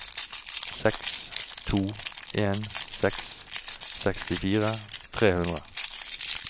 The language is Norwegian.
seks to en seks sekstifire tre hundre